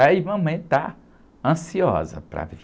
Aí mamãe está ansiosa para vir.